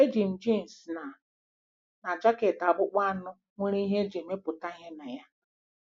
Eji m jeans na na jaket akpụkpọ anụ nwere ihe e ji emepụta ihe na ya.